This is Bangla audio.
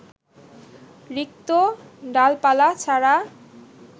রিক্ত ডালপালা ছাড়া